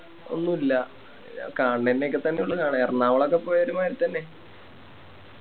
ഒന്നുല്ല കണണന്നെക്കെ തന്നെയുള്ളു കാണെ എർണകുളൊക്കെ പോയ ഒരു മാരി തന്നെ